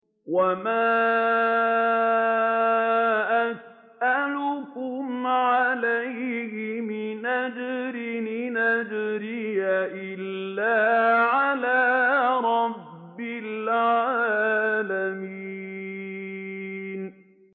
وَمَا أَسْأَلُكُمْ عَلَيْهِ مِنْ أَجْرٍ ۖ إِنْ أَجْرِيَ إِلَّا عَلَىٰ رَبِّ الْعَالَمِينَ